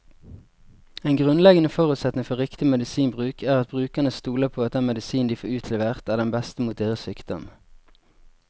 En grunnleggende forutsetning for riktig medisinbruk er at brukerne stoler på at den medisinen de får utlevert, er den beste mot deres sykdom.